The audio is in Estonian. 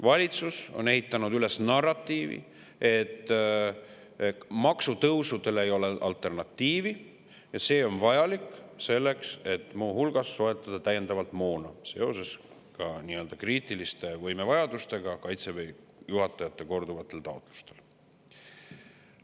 Valitsus on ehitanud üles narratiivi, et maksutõusudele ei ole alternatiivi ja need on vajalikud selleks, et muu hulgas soetada täiendavalt moona seoses kriitiliste võimevajadustega ja Kaitseväe juhataja korduvate taotlustega.